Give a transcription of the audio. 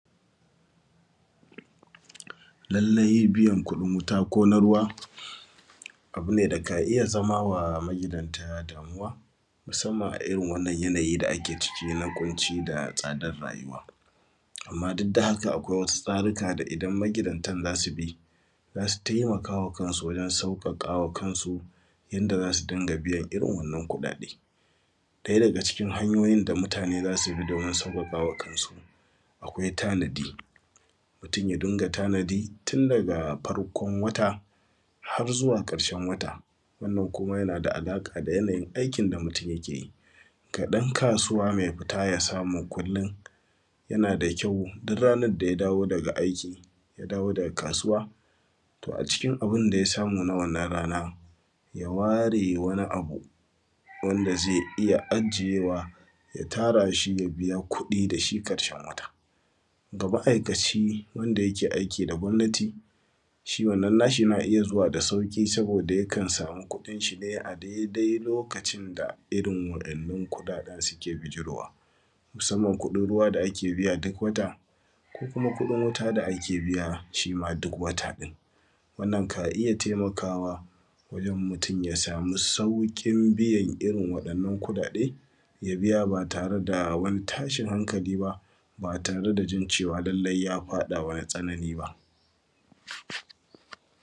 Lalle biyan kudin wuta ko na ruwa abu ne da ka iya zama ma magidanta damuwa, musamman a irin wannan yanayı da ake ciki kunci da tsadan rayuwa. Amma duk da haka akwai wasu tsaruka da idan magidanta zasu bi za su taimakawa kansu wajen sauƙaƙawa kansu idan za su dinga biyan wannan kuɗaɗe. ɗaya daga cikin hanyoyin da wannan mutane za su bi domin sauƙaƙawa kansu akwai tanadi, mutum ya dinga tanadi tun daga farkon wata har zuwa ƙarshen wata, wannan kuma yana da alaƙa da yana yin aikin mutum yake yi. Ga ɗan kasuwa mai fita ya samu kullum yana da kyau duk ranan da ya dawo daga aiki ya dawo daga kasuwa to acikin abinda ya samu na wannan rana ya ware wani abu wanda zai iya ajiyewa ya tara shi ya biya kuɗi dashi ƙarshen wata. Ga ma’ikaci wanda yake aiki da gomnati shi wannan nashi yana iya zuwa da sauƙi saboda ya kan samu kuɗin shi ne a daidai lokacin da irin wa’innan kuɗaɗan suke bijirowa.musamman kuɗin ruwa da ake biya duk wata ko kuma kudin wuta da ake biya shima duk wata din. Wannan ka iya taimakawa wajen mutum ya samu saukin biyan irin wa’innan kuɗaɗe ya biya ba tare da wani tashin hankali ba tare da jin cewa lalle ya faɗawa wani tsanani ba.duk wata ko kuma kudin wuta da ake biya shima duk wata din. Wannan ka iya taimakawa wajen mutum ya samu saukin biyan irin wa’innan kuɗaɗe ya biya ba tare da wani tashin hankali ba tare da jin cewa lalle ya faɗawa wani tsanani ba.